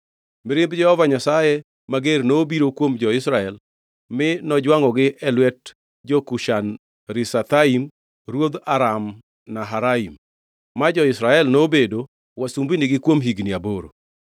Mirimb Jehova Nyasaye mager nobiro kuom jo-Israel ma nojwangʼogi e lwet jo-Kushan-Rishathaim ruodh Aram-Naharaim, ma jo-Israel nobedo wasumbinigi kuom higni aboro.